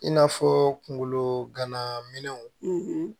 In n'a fɔ kunkolo gana minɛnw